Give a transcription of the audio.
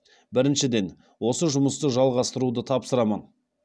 біріншіден осы жұмысты жалғастыруды тапсырамын